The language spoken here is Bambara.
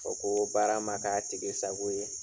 Ka fɔ ko baara ma kɛ a tigi sago ye